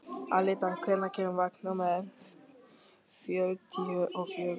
Alida, hvenær kemur vagn númer fjörutíu og fjögur?